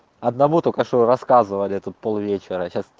одного только что рассказывали тут пол вечера сейчас